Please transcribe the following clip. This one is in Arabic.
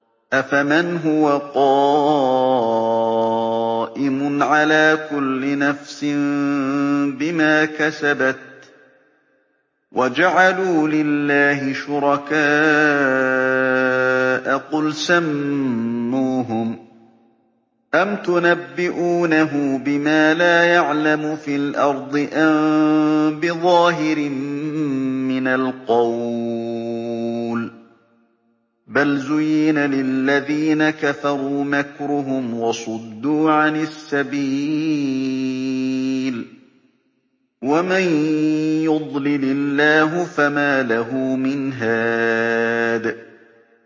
أَفَمَنْ هُوَ قَائِمٌ عَلَىٰ كُلِّ نَفْسٍ بِمَا كَسَبَتْ ۗ وَجَعَلُوا لِلَّهِ شُرَكَاءَ قُلْ سَمُّوهُمْ ۚ أَمْ تُنَبِّئُونَهُ بِمَا لَا يَعْلَمُ فِي الْأَرْضِ أَم بِظَاهِرٍ مِّنَ الْقَوْلِ ۗ بَلْ زُيِّنَ لِلَّذِينَ كَفَرُوا مَكْرُهُمْ وَصُدُّوا عَنِ السَّبِيلِ ۗ وَمَن يُضْلِلِ اللَّهُ فَمَا لَهُ مِنْ هَادٍ